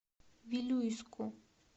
вилюйску